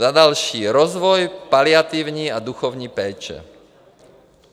Za další - rozvoj paliativní a duchovní péče.